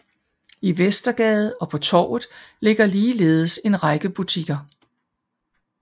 I Vestergade og på Torvet ligger ligeledes en række butikker